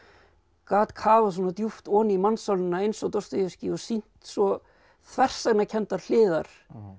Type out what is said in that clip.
gat kafað svona djúpt ofan í mannssálina eins og Dostojevskí og sýnt svo þversagnakenndar hliðar